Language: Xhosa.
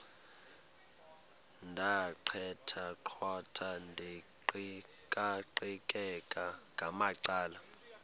ndaqetheqotha ndiqikaqikeka ngamacala